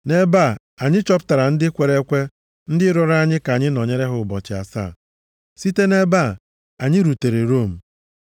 Nʼebe a anyị chọpụtara ndị kwere ekwe ndị rịọrọ ka anyị nọnyere ha ụbọchị asaa. Site nʼebe a, anyị rutere Rom.